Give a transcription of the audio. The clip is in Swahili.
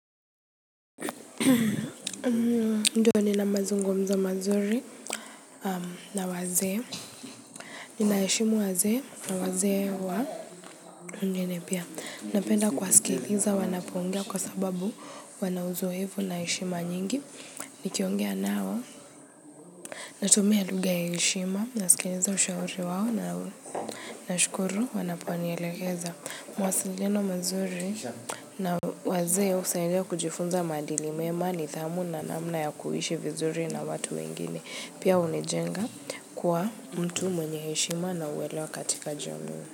Ndio ninamazungumzo mazuri na wazee ninaheshimu wazee na wazee wananiheshimu pia, napenda kuwasikiliza wanapoongea kwa sababu wana uzoevu na heshima nyingi nikiongea nao natumia lugha ya heshima nasikiliza ushauri wao na nashukuru wanaponielekeza mawasiliano mazuri. Na wazee husaidia kujifunza maadili mema nidhamu na namna ya kuishi vizuri na watu wengine. Pia hunijenga kwa mtu mwenye heshima na uwelewa katika jambo.